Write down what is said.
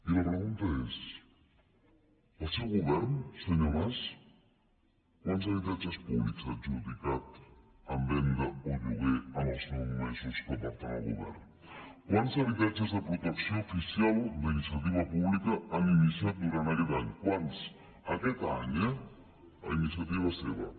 i la pregunta és el seu govern senyor mas quants habitatges públics ha adjudicat en venda o lloguer en els nou mesos que porten al govern quants habitatges de protecció oficial d’iniciativa pública han iniciat durant aquest any quants aquest any eh a iniciativa seva